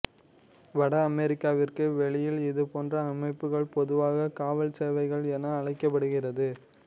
வட அமெரிக்காவிற்கு வெளியில் இது போன்ற அமைப்புகள் பொதுவாக காவல் சேவைகள் என அழைக்கப்படுகிறது